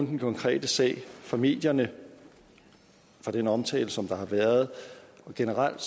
den konkrete sag fra medierne fra den omtale som der har været generelt